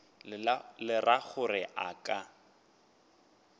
le ra gore a ka